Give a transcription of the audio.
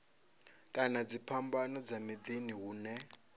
kana dziphambano dza miḓini hune